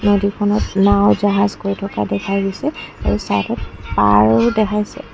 নদীখনত নাওঁ জাহাজ গৈ থকা দেখা গৈছে আৰু চাইদত পাৰও দেখাইছে।